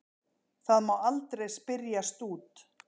Það má aldrei spyrjast út.